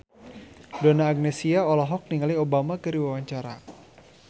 Donna Agnesia olohok ningali Obama keur diwawancara